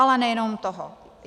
Ale nejenom toho.